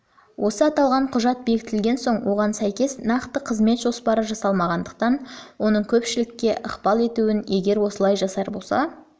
осы аталған құжат бекітілген соң соған сәйкес нақты қызмет жоспары жасалмағандықтан оның көпшілікке ықпал етуін егер осылай болса